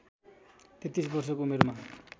३३ वर्षको उमेरमा